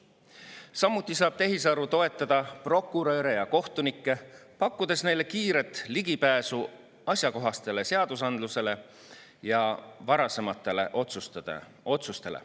Samuti saab tehisaru toetada prokuröre ja kohtunikke, pakkudes neile kiiret ligipääsu asjakohasele seadusandlusele ja varasematele otsustele.